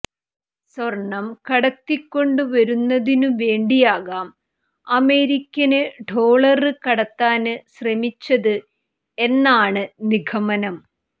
സ്വര്ണം കടത്തിക്കൊണ്ടുവരുന്നതിനു വേണ്ടിയാകാം അമേരിക്കന് ഡോളര് കടത്താന് ശ്രമിച്ചത് എന്നാണ് നിഗമനം